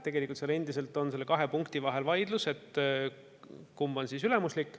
Tegelikult on seal endiselt nende kahe punkti kohta vaidlus, kumb on siis ülemuslik.